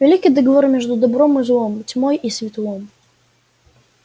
великий договор между добром и злом тьмой и светлом